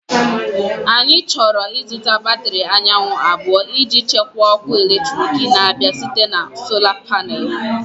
Anyị chọrọ ịzụta batrị anyanwụ abụọ iji chekwaa ọkụ eletrik na-abịa site na Sola Panel.